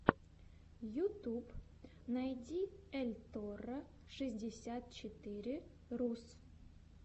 ютуб найди эльторро шестьдесят четыре рус